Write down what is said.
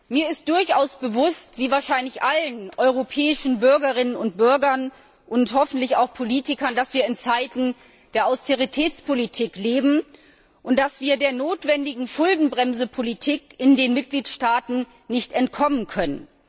Mir ist durchaus bewusst wie wahrscheinlich allen europäischen Bürgerinnen und Bürgern und hoffentlich auch Politikern dass wir in Zeiten der Austeritätspolitik leben, und dass wir der notwendigen Schuldenbremsepolitik in den Mitgliedstaaten nicht entkommen können.